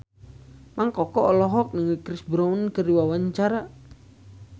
Mang Koko olohok ningali Chris Brown keur diwawancara